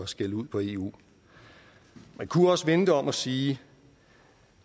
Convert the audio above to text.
skælde ud på eu man kunne også vende det om og sige